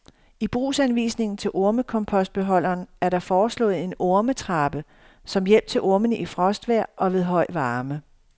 I brugsanvisningen til ormekompostbeholderen er der foreslået en ormetrappe som hjælp til ormene i frostvejr og ved høj varme.